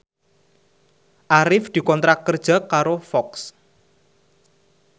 Arif dikontrak kerja karo Fox